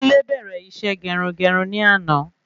Kunle bẹ́rẹ isé gerungerun ní àná